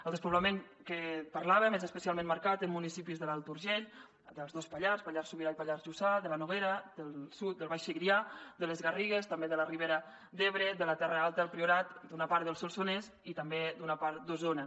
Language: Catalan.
el despoblament que parlàvem és especialment marcat en municipis de l’alt urgell dels dos pallars pallars sobirà i pallars jussà de la noguera del sud del baix segrià de les garrigues també de la ribera d’ebre de la terra alta del priorat d’una part del solsonès i també d’una part d’osona